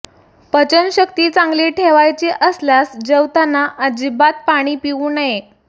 पचन शक्ती चांगली ठेवायची असल्यास जेवताना अजिबात पाणी पिऊ नये